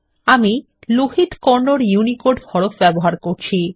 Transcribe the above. আমি লোহিত কন্নড ইউনিকোড হরফ ব্যবহার করছি